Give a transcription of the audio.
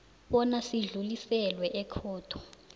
bona sidluliselwe ekhotho